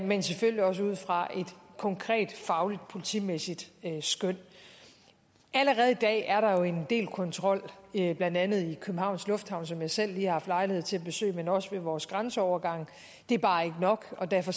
men selvfølgelig også ud fra et konkret fagligt politimæssigt skøn allerede i dag er der jo en del kontrol blandt andet i københavns lufthavn som jeg selv lige har haft lejlighed til at besøge men også ved vores grænseovergange det er bare ikke nok og derfor